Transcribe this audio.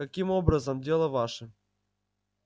каким образом дело ваше